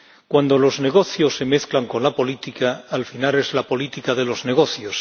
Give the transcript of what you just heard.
Cuando los negocios se mezclan con la política, al final es la política de los negocios.